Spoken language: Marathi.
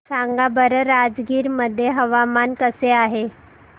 सांगा बरं राजगीर मध्ये हवामान कसे आहे